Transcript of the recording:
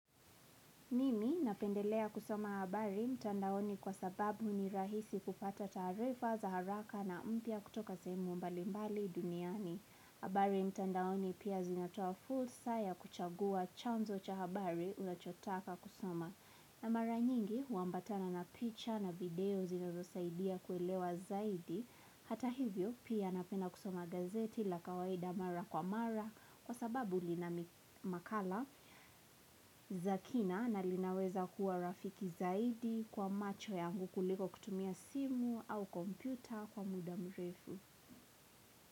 Mimi napendelea kusoma habari mtandaoni kwa sababu ni rahisi kupata taarifa za haraka na mpya kutoka sehemu mbali mbali duniani. Habari mtandaoni pia zinatoa fursa ya kuchagua chanzo cha habari unachotaka kusoma. Na mara nyingi huambatana na picha na video zinazosaidia kuelewa zaidi. Hata hivyo pia napenda kusoma gazeti la kawaida mara kwa mara kwa sababu lina makala zakina na linaweza kuwa rafiki zaidi kwa macho yangu kuliko kutumia simu au kompyuta kwa muda mrefu.